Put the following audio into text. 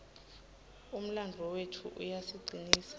umlandvo wetfu uyasicinisa